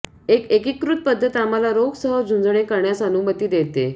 एक एकीकृत पध्दत आम्हाला रोग सह झुंजणे करण्यास अनुमती देते